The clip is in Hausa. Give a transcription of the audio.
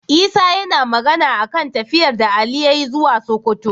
Isa yAna Magana akan tafiyar da Ali yayi zuwa sokoto